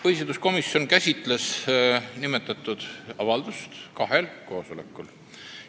Põhiseaduskomisjon käsitles nimetatud avaldust kahel koosolekul.